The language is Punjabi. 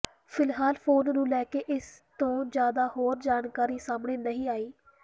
ਫਿਲਹਾਲ ਫੋਨ ਨੂੰ ਲੈ ਕੇ ਇਸ ਤੋਂ ਜ਼ਿਆਦਾ ਹੋਰ ਜਾਣਕਾਰੀ ਸਾਹਮਣੇ ਨਹੀਂ ਆਈ